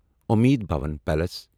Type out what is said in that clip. عمید بھون پیٖلس